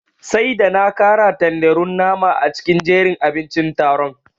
Sai da na kara tanderun nama a cikin jerin abincin taron.